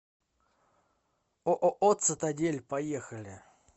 ооо цитадель поехали